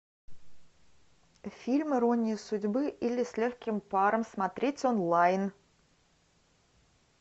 фильм ирония судьбы или с легким паром смотреть онлайн